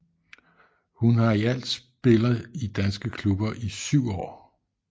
Hun har i alt spiller i danske klubber i syv år